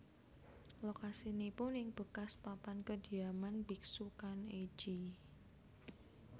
Lokasinipun ing bekas papan kediaman biksu Kan ei ji